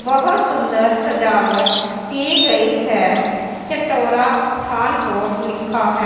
बहुत सुंदर सजावट की गई है चटोरा पठान कोट लिखा है।